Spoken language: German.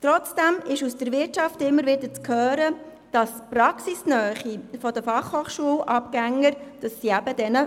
Trotzdem ist vonseiten der Wirtschaft immer wieder zu hören, dass den FH-Abgängern die Praxisnähe fehle.